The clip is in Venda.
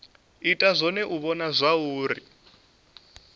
ita zwone u vhona zwauri